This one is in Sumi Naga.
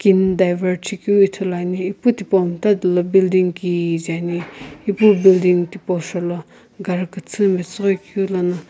kini divert shikeu ithuluani ipu tipau mta dola building kije ani ipu building tipau shoulo gari kuthu metsughoi keu lono.